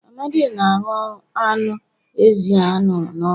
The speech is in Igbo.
Amadi na arụ anụ ezi a ṅara n'ọkụ